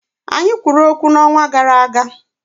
Anyị kwuru okwu n'ọnwa gara aga